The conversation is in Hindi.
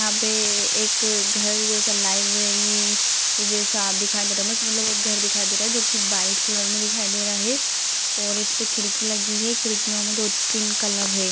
यहां पे एक घर जैसा लाइब्रेरी जैसा दिखाई दे रहा है बस मतलब एक घर दिखाई दे रहा है जो की व्हाइट कलर में दिखाई दे रहा है और इसपे खिड़की लगी है खिड़कियों में दो तीन कलर है।